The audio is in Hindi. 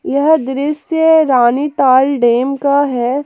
यह दृश्य रानी ताल डैम का है।